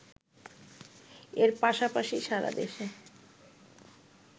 এর পাশাপাশি সারা দেশে